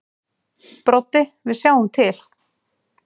Broddi: Við sjáum til.